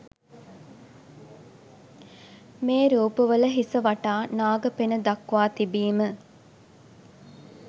මේ රූප වල හිස වටා නාග පෙණ දක්වා තිබීම